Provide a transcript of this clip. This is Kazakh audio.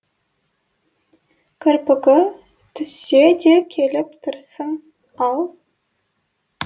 кірпігі түссе де келіп тұрсын ал